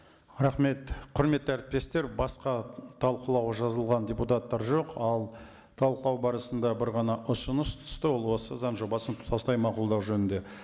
рахмет құрметті әріптестер басқа талқылауға жазылған депутаттар жоқ ал талқылау барысында бір ғана ұсыныс түсті ол осы заң жобасын тұтастай мақұлдау жөнінде